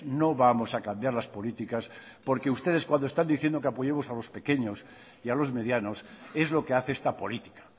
no vamos a cambiar las políticas porque ustedes cuando están diciendo que apoyemos a los pequeños y a los medianos es lo que hace esta política